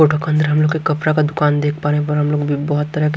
photo के अंदर हम लोग के कपड़ा का दुकान देख पा रहे हैं पर हम लोग बहुत तरह के--